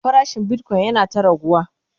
farashin Bitcoin yana ta raguwa